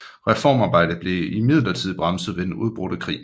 Reformarbejde blev imidlertid bremset ved den udbrudte krig